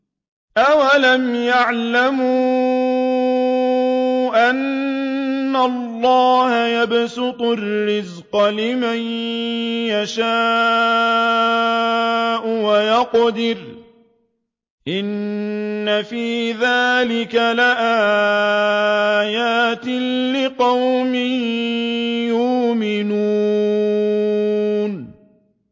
أَوَلَمْ يَعْلَمُوا أَنَّ اللَّهَ يَبْسُطُ الرِّزْقَ لِمَن يَشَاءُ وَيَقْدِرُ ۚ إِنَّ فِي ذَٰلِكَ لَآيَاتٍ لِّقَوْمٍ يُؤْمِنُونَ